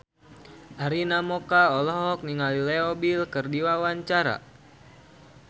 Arina Mocca olohok ningali Leo Bill keur diwawancara